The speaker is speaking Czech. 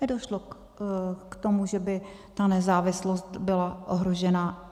Nedošlo k tomu, že by ta nezávislost byla ohrožená.